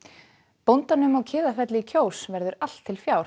bóndanum á Kiðafelli í Kjós verður allt til fjár